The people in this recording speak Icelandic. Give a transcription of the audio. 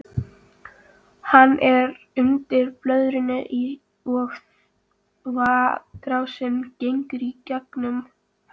Hann er undir blöðrunni og þvagrásin gengur í gegnum hann.